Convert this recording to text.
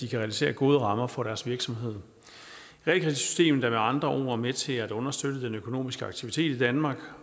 kan realisere gode rammer for deres virksomheder realkreditsystemet er med andre ord med til at understøtte den økonomiske aktivitet i danmark